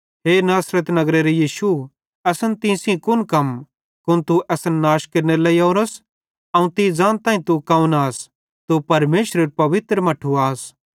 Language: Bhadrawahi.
हे नासरत नगरेरो यीशु असन तीं सेइं कुन कम कुन तू असन नाश केरनेरे लेइ ओरोस अवं ज़ानताईं कि तू कौन आस तू परमेशरेरू पवित्र मट्ठू आस